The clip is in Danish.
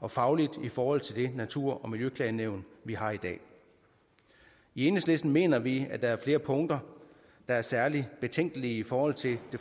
og fagligt i forhold til det natur og miljøklagenævn vi har i dag i enhedslisten mener vi at der er flere punkter der er særlig betænkelige i forhold til